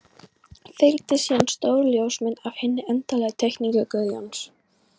Fylgdi síðan stór ljósmynd af hinni endanlegu teikningu Guðjóns.